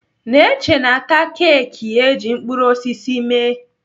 Neche na-ata keeki eji mkpụrụ osisi mee.